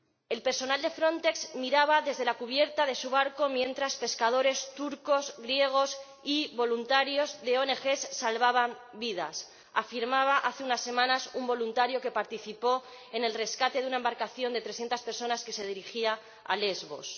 El personal de Frontex miraba desde la cubierta de su barco mientras pescadores turcos, griegos y voluntarios de ONG salvaban vidas afirmaba hace unas semanas un voluntario que participó en el rescate de una embarcación de trescientas personas que se dirigía a Lesbos.